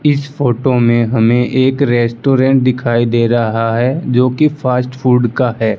इस फोटो में हमें एक रेस्टोरेंट दिखाई दे रहा है जोकि फास्ट फूड का है।